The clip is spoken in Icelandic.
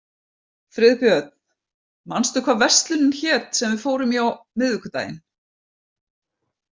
Friðbjörn, manstu hvað verslunin hét sem við fórum í á miðvikudaginn?